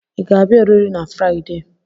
Ị ga-abịa oriri na Fraịde?